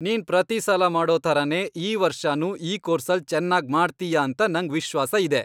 ನೀನ್ ಪ್ರತೀಸಲ ಮಾಡೋ ಥರನೇ ಈ ವರ್ಷನೂ ಈ ಕೋರ್ಸಲ್ಲ್ ಚೆನ್ನಾಗ್ ಮಾಡ್ತೀಯ ಅಂತ ನಂಗ್ ವಿಶ್ವಾಸ ಇದೆ.